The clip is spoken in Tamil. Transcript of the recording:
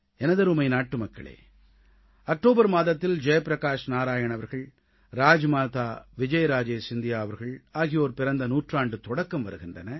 எனதருமை நாட்டுமக்களே அக்டோபர் மாதத்தில் ஜெய் பிரகாஷ் நாராயண் அவர்கள் ராஜ்மாதா விஜய்ராஜே சிந்தியா அவர்கள் ஆகியோர் பிறந்த நூற்றாண்டுத் தொடக்கம் வருகின்றன